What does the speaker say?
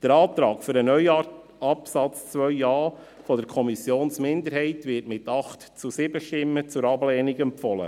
Der Antrag für einen neuen Absatz 2a der Kommissionsminderheit wird mit 8 zu 7 Stimmen zur Ablehnung empfohlen.